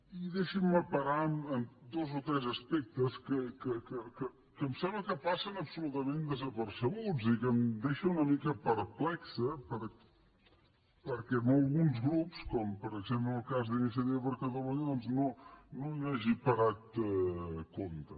i deixin me parar en dos o tres aspectes que em sembla que passen absolutament desapercebuts i en què em deixa una mica perplex que alguns grups com per exemple en el cas d’iniciativa per catalunya doncs no hi hagi parat compte